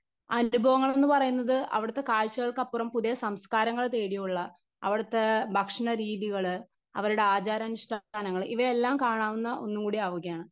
Speaker 1 അനുഭവങ്ങൾ എന്നുപറയുന്നത് അവിടുത്തെ കാഴ്ചകൾക്കപ്പുറം പുതിയ സംസ്കാരങ്ങൾ തേടിയുള്ള അവിടത്തെ ഭക്ഷണരീതികൾ അവരുടെ ആചാരാനുഷ്ഠാനങ്ങൾ ഇവയെല്ലാം കാണാവുന്ന ഒന്നുംകൂടി ആവുകയാണ്.